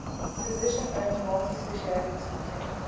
physician owned multi specialty clinic